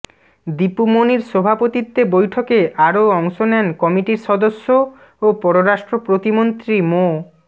দীপু মনির সভাপতিত্বে বৈঠকে আরও অংশ নেন কমিটির সদস্য ও পররাষ্ট্র প্রতিমন্ত্রী মো